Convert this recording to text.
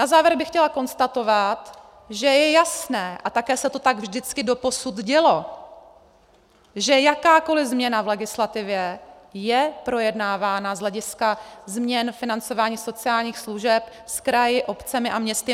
Na závěr bych chtěla konstatovat, že je jasné, a také se to tak vždycky doposud dělo, že jakákoliv změna v legislativě je projednávána z hlediska změn financování sociálních služeb s kraji, obcemi a městy.